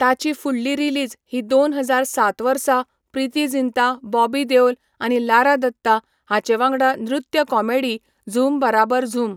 ताची फुडली रिलीज ही दोन हजार सात वर्सा प्रीती जिंता, बॉबी देओल, आनी लारा दत्ता हांचे वांगडा नृत्य कॉमेडी झूम बारबर झूम.